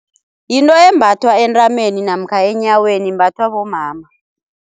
Yinto eyembathwa entameni namkha enyaweni imbathwa bomama.